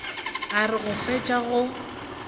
a re go fetša go